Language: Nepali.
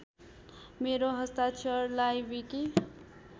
मेरो हस्ताक्षरलाई विकि